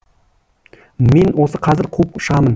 мен оны қазір қуып шығамын